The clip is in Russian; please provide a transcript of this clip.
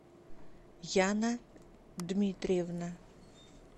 яна дмитриевна